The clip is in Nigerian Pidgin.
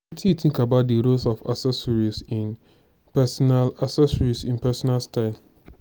wetin you think about di role of accessories in pesinal accessories in pesinal style?